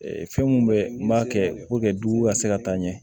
fɛn mun bɛ n b'a kɛ dugu ka se ka taa ɲɛ